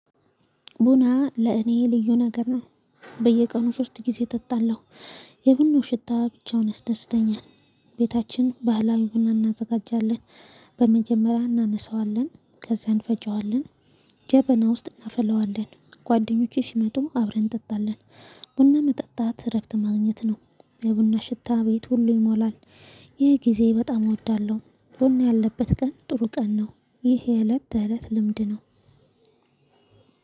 ቡና ለእኔ ልዩ ነገር ነው። በየቀኑ ሶስት ጊዜ ጠጣለሁ። የቡናው ሽታ ብቻውን ያስደስተኛል። ቤታችን ባህላዊ ቡና እናዘጋጃለን። በመጀመሪያ እናነሳዋለን ከዛ እንፈጨዋለን። ጀበና ውስጥ እናፍለዋለን። ጓደኞቼ ሲመጡ አብረን እንጠጣለን። ቡና መጠጣት እረፍት ማግኘት ነው። የቡና ሽታ ቤት ሁሉ ይሞላል። ይህ ጊዜ በጣም እወዳለሁ ቡና ያለበት ቀን ጥሩ ቀን ነው። ይህ የእለት ተእለት ልምድ ነው።